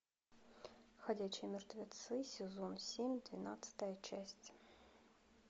ходячие мертвецы сезон семь двенадцатая часть